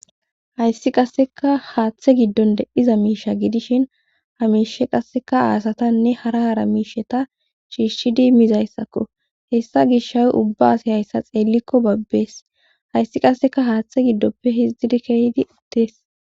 hayssi qasseka haaththe giddon de'iza miisha gidishin hamiishe qasseka aasatanne hara hara miisheta shiishidi mizayssakko hessa gishhay ubba asi hayssa xeellikko babbees hayssi qasseka haaththe giddoppe hizdzidi keydi uttees